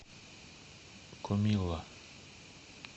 комилла